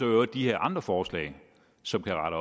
øvrigt de her andre forslag som kan